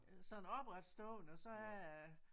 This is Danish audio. Sådan opretstående og så er